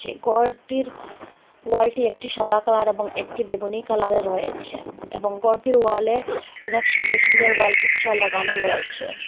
এই ঘরটির ওয়ালটি একটি সাদা কালার এবং একটি বেগুনি কালারের হয়েছে এবং ঘরটির ওয়ালে অনেক সুন্দর সুন্দর ওয়াল পিকচার লাগানো রয়েছে।